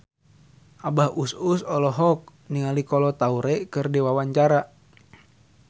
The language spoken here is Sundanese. Abah Us Us olohok ningali Kolo Taure keur diwawancara